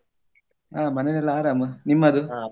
ಹ ಮನೇಲಿ ಎಲ್ಲ ಅರಾಮ್ ನಿಮ್ಮದು?